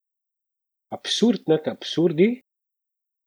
Absurd nad absurdi?